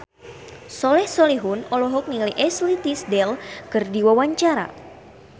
Soleh Solihun olohok ningali Ashley Tisdale keur diwawancara